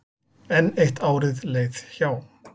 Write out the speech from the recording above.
Enn eitt árið leið hjá.